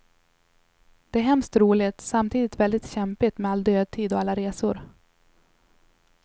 Det är hemskt roligt, samtidigt väldigt kämpigt med all dödtid och alla resor.